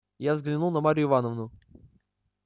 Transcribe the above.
я взглянул на марью ивановну